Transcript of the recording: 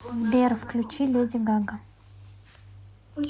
сбер включи леди гага